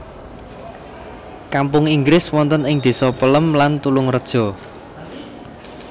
Kampung Inggris wonten ing désa Pelem lan Tulungreja